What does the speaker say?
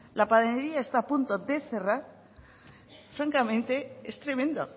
la panadería está a punto de cerrar francamente es tremendo